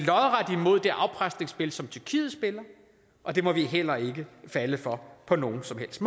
imod det afpresningsspil som tyrkiet spiller og det må vi heller ikke falde for på nogen som helst